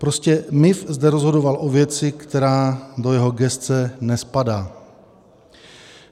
Prostě MIV zde rozhodoval o věci, která do jeho gesce nespadá.